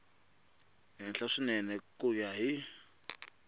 henhla swinene ku ya hi